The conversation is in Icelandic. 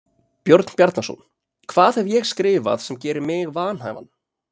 Björn Bjarnason: Hvað hef ég skrifað sem gerir mig vanhæfan?